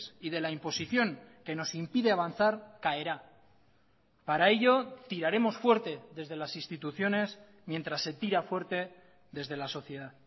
y de la imposición que nos impide avanzar caerá para ello tiraremos fuerte desde las instituciones mientras se tira fuerte desde la sociedad